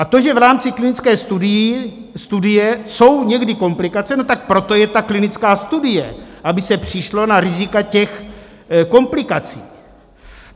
A to, že v rámci klinické studie jsou někdy komplikace, no tak proto je ta klinická studie, aby se přišlo na rizika těch komplikací.